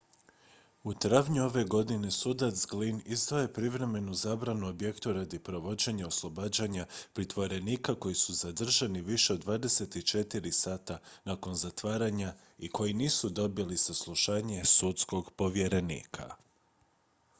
u travnju ove godine sudac glynn izdao je privremenu zabranu objektu radi provođenja oslobađanja pritvorenika koji su zadržani više od 24 sata nakon zatvaranja i koji nisu dobili saslušanje sudskog povjerenika